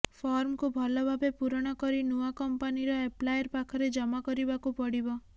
ଫର୍ମକୁ ଭଲଭାବେ ପୂରଣ କରି ନୂଆ କମ୍ପାନୀର ଏପ୍ଲାୟର ପାଖରେ ଜମା କରିବାକୁ ପଡ଼ିବ